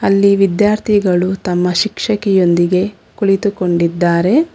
ಅಲ್ಲಿ ವಿದ್ಯಾರ್ಥಿಗಳು ತಮ್ಮ ಶಿಕ್ಷಕಿಯೊಂದಿಗೆ ಕುಳಿತುಕೊಂಡಿದ್ದಾರೆ.